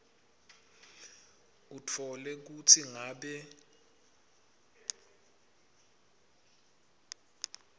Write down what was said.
utfole kutsi ngabe